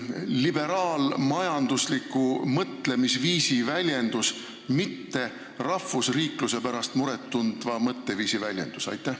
– liberaalmajandusliku mõtteviisi väljendus, mitte rahvusriikluse pärast muret tundva mõtteviisi väljendus?